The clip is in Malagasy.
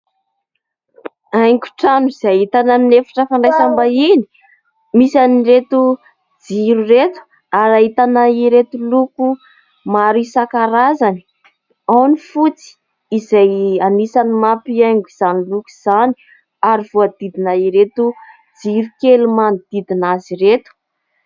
Haingo trano izay ahitana amin'ny efitra fandraisam-bahiny, misy an'ireto jiro ireto ary ahitana ireto loko maro isankarazany : ao ny fotsy izay anisany manampy haingo izany loko izany ary voahodidina ireto jiro kely manodidina azy ireto.